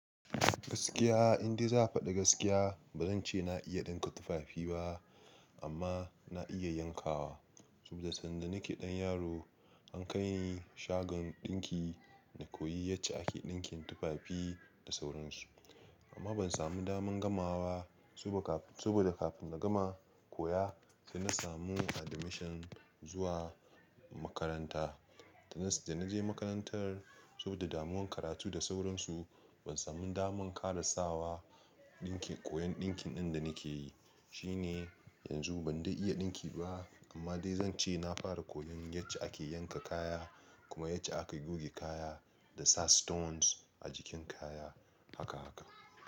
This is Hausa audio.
Gaskiya, in dai za a faɗi gaskiya, ba zan ce na iya ɗinka tufafi ba amma na iya yankawa. Saboda sanda nake ɗan yaro an kai ni shagon ɗinki na koyi yace ake ɗinkin tufafi da sauransu. Amma ban sami daman gama wa ba saboda kafin na gama koya sai na samu admission zuwa makaranta. Da na je makarantar saboda damuwan karatu da sauransu ban samu daman karasawa koyon ɗinkin ɗin da nake yi. Shi ne yanzu ban dai iya ɗinki ba amma dai zan ce na fara koyon yace ake yanka kaya kuma yace aka goge kaya da sa stones a jikin kaya haka haka.